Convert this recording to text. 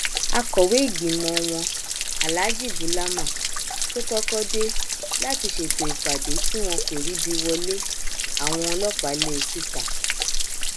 akọwé ìgbìmọ wọn aláàjì bulama tó kọkọ dé láti ṣètò ìpàdé tiwọn kò ríbi wọlé àwọn ọlọpàá lé e síta